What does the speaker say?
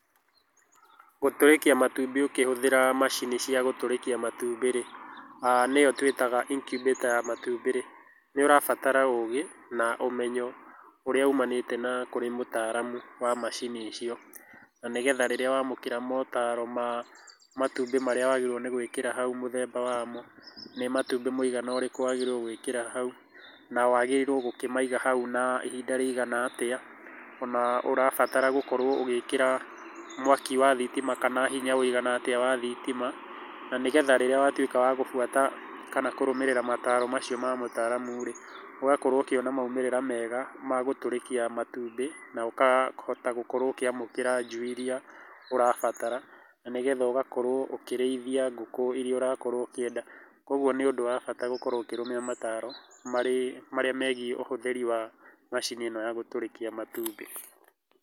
Gũtũrĩkia matumbĩ ũkĩhũthĩra macini cia gũtũrĩkia matumbĩ rĩ, nĩyo tũitaga incubator ya matumbĩ rĩ, nĩ ũrabatara ũgĩ na ũmenyo, ũrĩa umanĩte na kũrĩ mũtaramu wa macini icio, na nĩgetha rĩrĩa wamũkĩra motaro matumbĩ marĩa wagĩrĩirwo nĩ gũĩkĩra hau mũthemba wamo, nĩ matumbĩ mũigana ũrĩkũ wagĩrĩirwo nĩ gwĩkĩra hau, na wagĩrĩirwo gũkĩmaiga hau na ihinda rĩigana atĩa, ona ũrabatara gũkorwo ũgĩkĩra mwaki wa thitima kana hinya ũigana atia wa thitima, na nĩgetha rĩrĩa watuĩka wa gũbuata kana kũrũmĩrĩra mataaro macio ma ataaramu rĩ, ũgakorwo ũkĩona maumĩrĩra mega ma gũtũrĩkia matumbĩ, na ũkahota gũkorwo ũkĩamũkĩra njui iria ũrabatara, na nĩgetha ũgakorwo ũkĩrĩithia ngũkũ iria ũrakorwo ũkĩenda, ũguo nĩ ũndũ wa bata gũkorwo ũkĩrũmĩrĩra mataaro, marĩa megiĩ ũhũthĩri wa macini ĩno ya gũtũrĩkia matumbĩ.